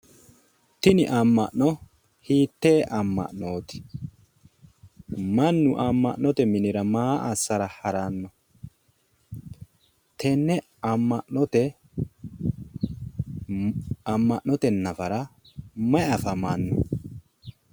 Tini amma'no hiitteee amma'nooti? mannu amma'note minira maa assara haranno? tenne amma'note nafara mayi afamanno?